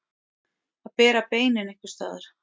Að bera beinin einhvers staðar